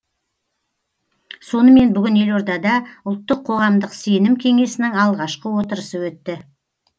сонымен бүгін елордада ұлттық қоғамдық сенім кеңесінің алғашқы отырысы өтті